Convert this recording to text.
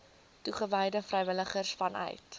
toegewyde vrywilligers vanuit